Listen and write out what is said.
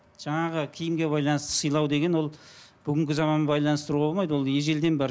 жаңағы киімге байланысты сыйлау деген ол бүгінгі заманмен байланыстыруға болмайды ол ежелден бар